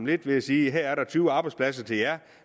lidt ved sige her er der tyve arbejdspladser til jer